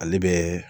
Ale bɛ